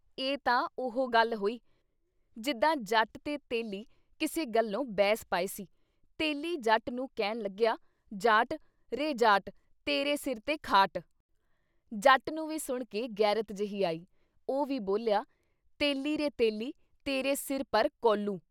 ਇਹ ਤਾਂ ਉਹੋ ਗੱਲ ਹੋਈ ! ਜਿੱਦਾਂ ਜੱਟ ਤੇ ਤੇਲੀ ਕਿਸੇ ਗੱਲੋਂ ਬਹਿਸ ਪਏ ਸੀ ਤੇਲੀ ਜੱਟ ਨੂੰ ਕਹਿਣ ਲੱਗਿਆ- ਜਾਟ ਰੇ ਜਾਟ ਤੇਰੇ ਸਿਰ 'ਤੇ ਖਾਟ।” ਜੱਟ ਨੂੰ ਵੀ ਸੁਣ ਕੇ ਗ਼ੈਰਤ ਜੇਹੀ ਆਈ । ਉਹ ਵੀ ਬੋਲਿਆ- ਤੇਲੀ ਰੇ ਤੇਲੀ ਤੇਰੇ ਸਿਰ ਪਰ ਕੋਹਲੂ।